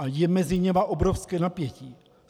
A je mezi nimi obrovské napětí.